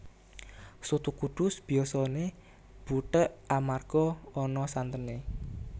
Soto Kudus biyasané butheg amarga ana santené